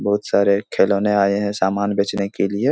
बहुत सारे खिलौने आयें हैं समान बेचने के लिए।